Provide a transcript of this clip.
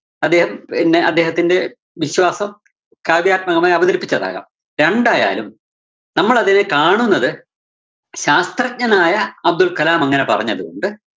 അദ്ദേഹം പിന്നെ അദ്ദേഹത്തിന്റെ വിശ്വാസം കാവ്യാത്മകമായി അവതരിപ്പിച്ചതാകാം. രണ്ടായാലും നമ്മളദ്ദേഹത്തെ കാണുന്നത് ശാസ്ത്രജ്ഞനായ അബ്ദുള്‍കലാം അങ്ങനെ പറഞ്ഞതുകൊണ്ട്